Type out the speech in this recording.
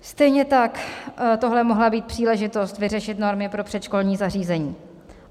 Stejně tak tohle mohla být příležitost vyřešit normy pro předškolní zařízení.